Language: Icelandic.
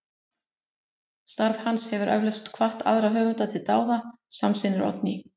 Starf hans hefur eflaust hvatt aðra höfunda til dáða, samsinnir Oddný.